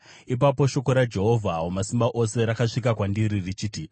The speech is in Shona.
Ipapo shoko raJehovha Wamasimba Ose rakasvika kwandiri richiti,